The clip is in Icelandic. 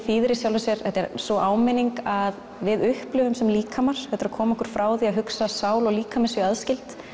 þýðir í sjálfu sér þetta er sú áminning að við upplifum sem líkamar þetta er að koma okkur frá því að hugsa að sál og líkami séu aðskild